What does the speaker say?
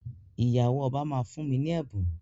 Ìyàwó ọba máa fún mi ní ẹ̀bùn.